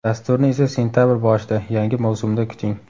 Dasturni esa sentabr boshida, yangi mavsumda kuting!